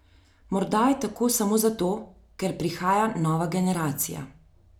Morda je tako samo zato, ker prihaja nova generacija.